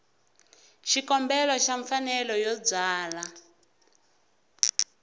xikombelo xa mfanelo yo byala